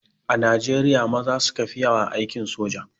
A Najriya maza suka fi yawa a aikin soja.